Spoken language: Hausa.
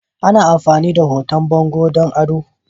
Ana amfani da hoton bango don ado.